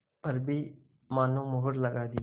पर भी मानो मुहर लगा दी